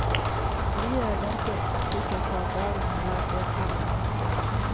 Lier er ganske sikker på at dagen har lært deltagerne noe.